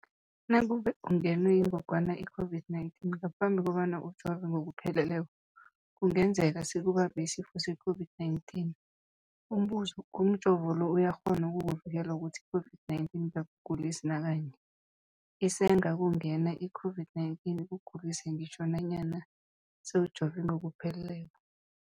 Nakube ungenwe yingogwana i-COVID-19 ngaphambi kobana ujove ngokupheleleko, kungenzeka sikubambe isifo se-COVID-19. Umbuzo, umjovo lo uyakghona ukukuvikela ukuthi i-COVID-19 ingakugulisi nakanye? Isengakungena i-COVID-19 ikugulise ngitjho nanyana sewujove ngokupheleleko.